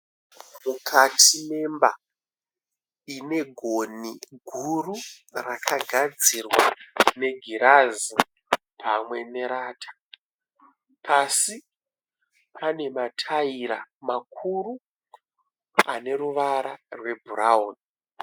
Mukati memba ine gonhi guru rakagadzirwa negirazi pamwe nerata. Pasi panemataira makuru aneruvara webhurauni.